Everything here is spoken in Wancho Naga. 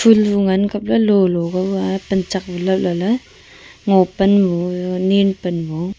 ful lung ngan kap le lu lu pame panchak lat lat le ngo pan nu nen pan nu.